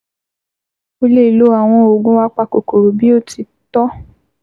Ó lè lo àwọn oògùn apakòkòrò bí ó ti tọ́